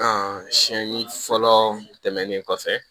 siyɛnni fɔlɔ tɛmɛnen kɔfɛ